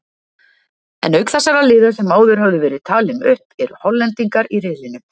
En auk þessara liða sem áður höfðu verið talin upp eru Hollendingar í riðlinum.